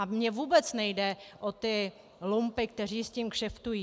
A mně vůbec nejde o ty lumpy, kteří s tím kšeftují.